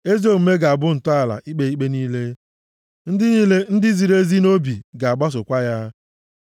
Ezi omume ga-abụ ntọala ikpe ikpe niile; ndị niile ndị ziri ezi nʼobi ga-agbasokwa ya.